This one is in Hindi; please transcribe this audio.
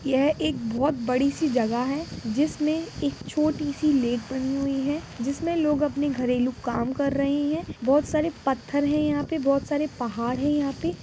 यह एक बहुत बड़ी सी जगह है जिसमे एक छोटी सी लेक बनी हुई है जिसमे लोग अपने घरेलू काम कर रहे है बहुत सारे पत्थर है यहाँ पे बहुत सारे पहाड़ है यहाँ पे।